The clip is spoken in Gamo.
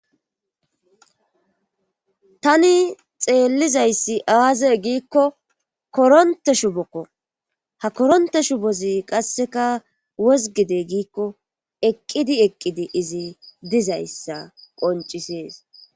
tani xeellizayssi aaze giikko koronte shubokko ha koronte shu bozi qasseka wozgide giikko eqqidi eqqidi izi dizayssa qoncisees